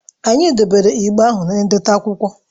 Anyị debere igbe ahụ na-ihe ndote akwụkwọ